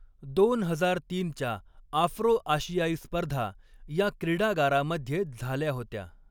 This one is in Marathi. दोन हजार तीनच्या आफ्रो आशियाई स्पर्धा या क्रीडागारामध्ये झाल्या होत्या.